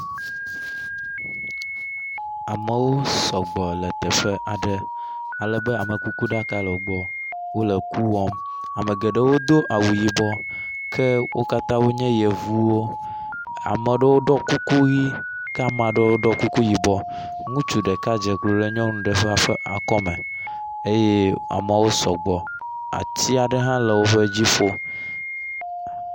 Amewo sɔgbɔ le teƒe aɖe ale be amekukuɖaka le wo gbɔ. Wo le ku wɔm. Ame geɖewo do awu yibɔ ke wo katã wonye yevuwo. Ame aɖewo ɖɔ kuku ʋi ke ame aɖewo ɖɔ kuku yibɔ. Ŋutsu ɖeka dze klo ɖe nyɔnu ɖe ƒe akɔme eye ameawo sɔgbɔ ati aɖe hã le woƒe dziƒo.